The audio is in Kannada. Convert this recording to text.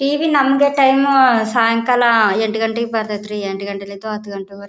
ಟಿವಿ ನಮ್ದೇ ಟೈಮ್ ಸಾಯಂಕಾಲ ಎಂಟ್ ಗಂಟೆಗ್ ಬರತೈತ್ರಿ ಎಂಟ್ ಗಂಟಿನಿಂದ ಹತ್ತ್ ಗಂಟೆ ವರ್ಗು.